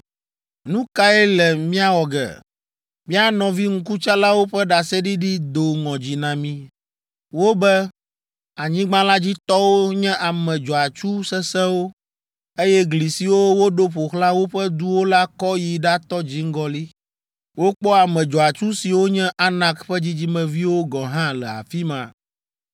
Nu kae le míawɔ ge? Mía nɔvi ŋkutsalawo ƒe ɖaseɖiɖi do ŋɔdzi na mí. Wobe, ‘Anyigba la dzi tɔwo nye ame dzɔatsu sesẽwo, eye gli siwo woɖo ƒo xlã woƒe duwo la kɔ yi ɖatɔ dziŋgɔli! Wokpɔ ame dzɔatsu siwo nye Anak ƒe dzidzimeviwo gɔ̃ hã le afi ma.’ ”